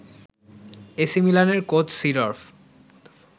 AC মিলানের coach Seedorf